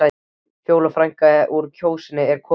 Fjóla frækna úr Kjósinni er komin.